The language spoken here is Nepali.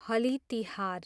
हलि तिहार